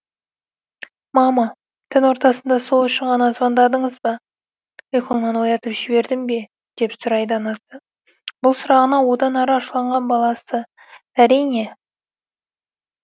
мама түн ортасында сол үшін ғана звондадыңыз ба ұйқыңнан оятып жібердім бе деп сұрайды анасы бұл сұрағына одан ары ашуланған баласы әрине